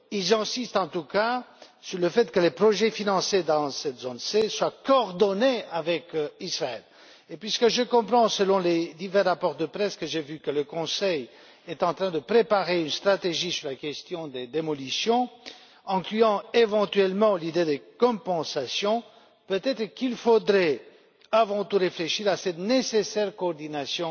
Ils insistent en tout cas sur le fait que les projets financés dans cette zone C doivent être coordonnés avec Israël. Puisque je comprends, selon les divers rapports de presse que j'ai vus, que le Conseil est en train de préparer une stratégie sur la question des démolitions incluant éventuellement l'idée de compensation, peut être faudrait il avant tout réfléchir à cette nécessaire coordination